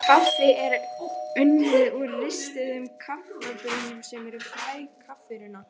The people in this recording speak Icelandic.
Þó má fá hugmynd um það af ágripi efnisyfirlits.